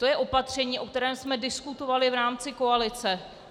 To je opatření, o kterém jsme diskutovali v rámci koalice.